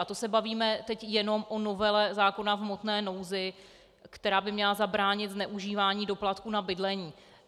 A to se bavíme teď jenom o novele zákona v hmotné nouzi, která by měla zabránit zneužívání doplatků na bydlení.